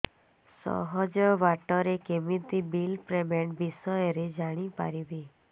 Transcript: ସହଜ ବାଟ ରେ କେମିତି ବିଲ୍ ପେମେଣ୍ଟ ବିଷୟ ରେ ଜାଣି ପାରିବି